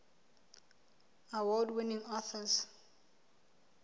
award winning authors